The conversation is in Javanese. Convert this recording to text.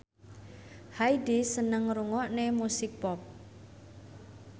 Hyde seneng ngrungokne musik pop